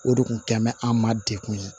O de kun tɛmɛn an ma degun ye